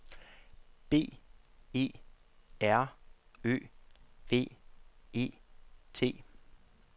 B E R Ø V E T